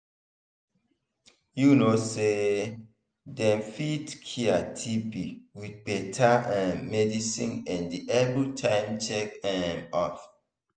you know say them fit cure tb with better um medicine and everytime check um up.